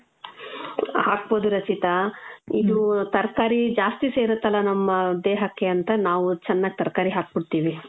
ಹಾಕ್ಬೋದು ರಚಿತಾ. ಇದೂ ತರ್ಕಾರಿ ಜಾಸ್ತಿ ಸೇರತ್ತಲ್ಲ ನಮ್ಮ ದೇಹಕ್ಕೆ ಅಂತ ನಾವು ಚೆನ್ನಾಗ್ ತರ್ಕಾರಿ ಹಾಕ್ಬಿಡ್ತೀವಿ.